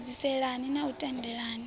a edziselea na u tendelela